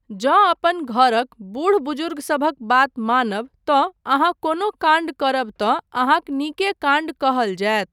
जँ अपन घरक बूढ़ बुज़ुर्गसभक बात मानब तँ अहाँ कोनो काण्ड करब तँ अहाँक नीके काण्ड कहल जायत।